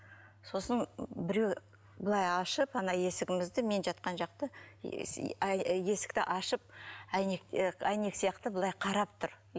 сосын біреу былай ашып ана есігімізді мен жатқан жақты есікті ашып әйнек і әйнек сияқты былай қарап тұр